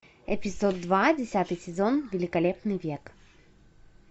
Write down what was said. эпизод два десятый сезон великолепный век